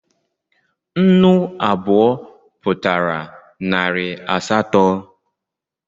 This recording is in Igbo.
Nnu abụọ Pụtara narị asatọ